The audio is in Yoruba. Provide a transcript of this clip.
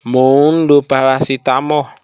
Mò ń lọ parasitamo